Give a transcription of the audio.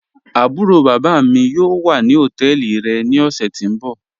Àbúró bábá mí mí yóò wà ní ọtẹ́ẹlí rẹ̀ ní ọ̀ṣẹ̀ tí n bọ̀.